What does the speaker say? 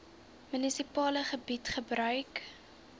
munisipale gebied gebruik